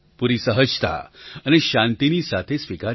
પૂરી સહજતા અને શાંતિની સાથે સ્વીકાર્યો